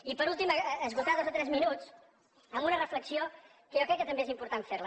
i per últim esgotar dos o tres minuts amb una reflexió que jo crec que també és important fer la